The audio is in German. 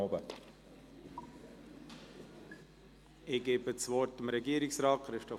Ich gebe das Wort Regierungsrat Christoph Neuhaus.